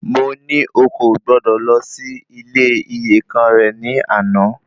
Mo ní o kò gbọdọ̀ lọ sí ilé iyèkan rẹ ní àná